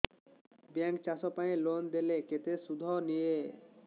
bank ଚାଷ ପାଇଁ loan ଦେଲେ କେତେ ସୁଧ ନିଏ